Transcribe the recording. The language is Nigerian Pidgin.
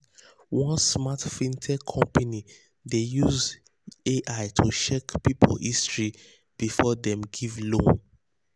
one smart fintech company dey use ai to check people history before dem give loan.